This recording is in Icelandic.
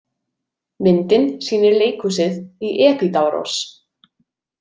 Myndin sýnir leikhúsið í Epídavros.